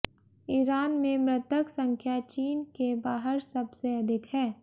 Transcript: Iran में मृतक संख्या चीन के बाहर सबसे अधिक है